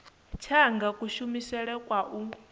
tsha anga kushumele kwa u